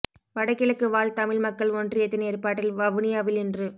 வட கிழக்கு வாழ் தமிழ் மக்கள் ஒன்றியத்தின் ஏற்பாட்டில் வவுனியாவில் இன்று